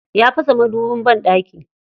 Ya fasa madubin banɗaki.